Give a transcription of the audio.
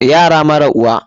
Yara mara uwa.